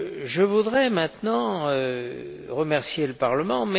Je voudrais maintenant remercier le Parlement.